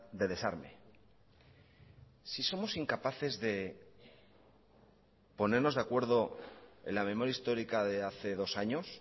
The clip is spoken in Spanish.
de desarme si somos incapaces de ponernos de acuerdo en la memoria histórica de hace dos años